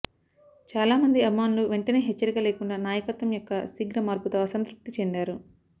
చాలామంది అభిమానులు వెంటనే హెచ్చరిక లేకుండా నాయకత్వం యొక్క శీఘ్ర మార్పుతో అసంతృప్తి చెందారు